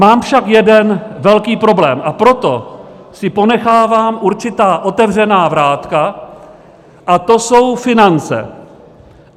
Mám však jeden velký problém, a proto si ponechávám určitá otevřená vrátka, a to jsou finance.